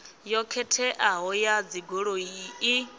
yo khetheaho ya dzigoloi i